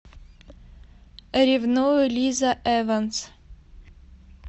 ревную лиза эванс